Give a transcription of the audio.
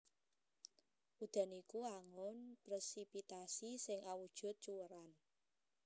Udan iku wangun presipitasi sing awujud cuwèran